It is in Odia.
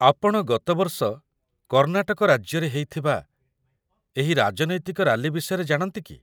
ଆପଣ ଗତ ବର୍ଷ କର୍ଣ୍ଣାଟକ ରାଜ୍ୟରେ ହେଇଥିବା ଏହି ରାଜନୈତିକ ରାଲି ବିଷୟରେ ଜାଣନ୍ତି କି?